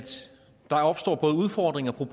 fru inger